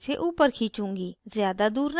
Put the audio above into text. ज़्यादा दूर नहीं